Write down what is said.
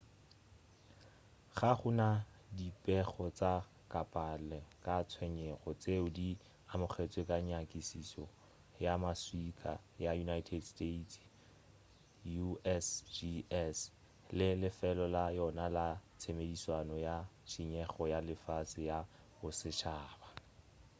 ga go na dipego tša kapela ka tshenyego tšeo di amogetšwego ka nyakišišo ya maswika ya united states usgs le lefelo la yona la tshedimošo ya tšhišinyego ya lefase ya bosetšhaba